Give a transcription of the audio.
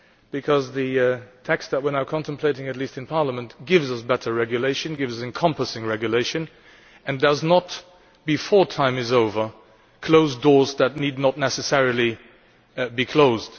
because the text that we are now contemplating, at least in Parliament, gives us better regulation, gives us encompassing regulation and does not prematurely close doors that need not necessarily be closed.